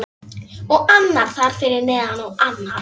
Og annar þar fyrir neðan. og annar.